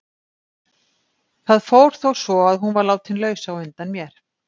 Það fór þó svo að hún var látin laus á undan mér.